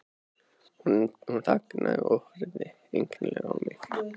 Hún þagnaði og horfði einkennilega á mig.